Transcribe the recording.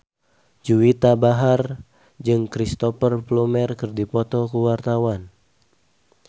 Juwita Bahar jeung Cristhoper Plumer keur dipoto ku wartawan